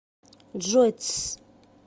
джой тсс